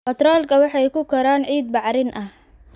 Baatroolka waxay ku koraan ciid bacrin ah.